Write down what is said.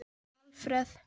Alfreð